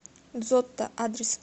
зотто адрес